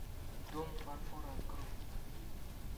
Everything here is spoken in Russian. дом фарфора открой